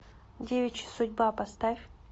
девичья судьба поставь